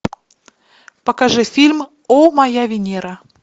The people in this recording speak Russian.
покажи фильм о моя венера